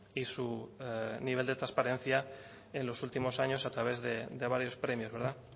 y su nivel de trasparencia en los últimos años a través de varios premios verdad